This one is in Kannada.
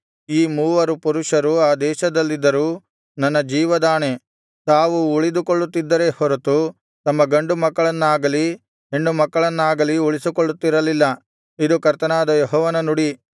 ಈ ಮೂವರು ಪುರುಷರು ಆ ದೇಶದಲ್ಲಿದ್ದರೂ ನನ್ನ ಜೀವದಾಣೆ ತಾವು ಉಳಿದುಕೊಳ್ಳುತ್ತಿದ್ದರೇ ಹೊರತು ತಮ್ಮ ಗಂಡು ಮಕ್ಕಳನ್ನಾಗಲಿ ಹೆಣ್ಣು ಮಕ್ಕಳನ್ನಾಗಲಿ ಉಳಿಸಿಕೊಳ್ಳುತ್ತಿರಲಿಲ್ಲ ಇದು ಕರ್ತನಾದ ಯೆಹೋವನ ನುಡಿ